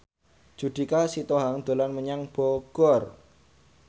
Judika Sitohang dolan menyang Bogor